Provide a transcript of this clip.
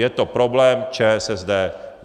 Je to problém ČSSD.